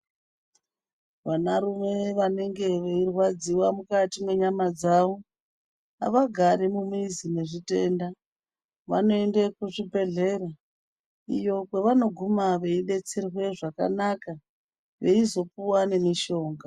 Vanarume vanenge veirwadziwa mukati mwenyama dzavo havagari mumizi nezvitenda, vanoende kuzvibhedhlera, iyo kwevanoguma veidetserwe zvakanaka, veizopuwa nemishonga.